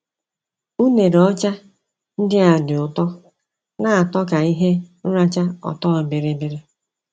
Unere ọcha ndia dị ụtọ –na atọ ka ihe nracha ọtọ biribiri